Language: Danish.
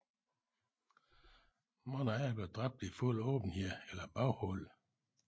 Mange andre blev dræbt i fuld åbenhed eller baghold